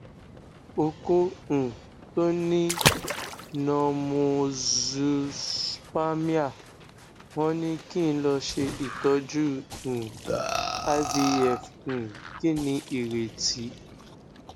oko um to ni normozoospermia won ni ki n lo se itoju um ivf um kini ireti